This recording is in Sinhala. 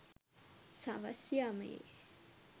සවස් යාමයේ